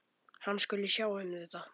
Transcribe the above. Hann skuli sjá um þetta.